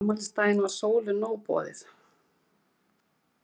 Á afmælisdaginn varð Sólu nóg boðið.